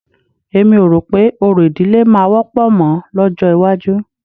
Èmi ò rò pé orò ìdílé máa wọ́pọ̀ mọ́ lọ́jọ́ iwájú